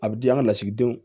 A bɛ di an ka lasigidenw